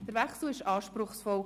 Der Wechsel war anspruchsvoll.